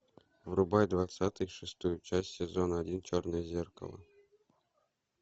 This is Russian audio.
врубай двадцать шестую часть сезон один черное зеркало